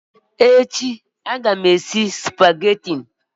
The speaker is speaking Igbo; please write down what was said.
Echi aga m esi Supagetii